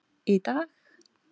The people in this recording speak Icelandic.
Í dag.